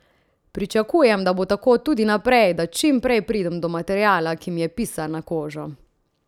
Pričakujem, da bo tako tudi naprej, da čim prej pridem do materiala, ki mi je pisan na kožo.